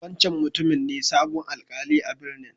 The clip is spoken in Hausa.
Wancan mutumin ne sabon Alkali a'birnin.